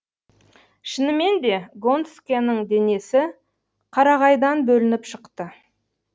шынымен де гонскэнің денесі қарағайдан бөлініп шықты